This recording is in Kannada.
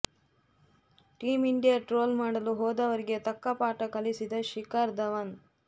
ಟೀಂ ಇಂಡಿಯಾ ಟ್ರೋಲ್ ಮಾಡಲು ಹೋದವರಿಗೆ ತಕ್ಕ ಪಾಠ ಕಲಿಸಿದ ಶಿಖರ್ ಧವನ್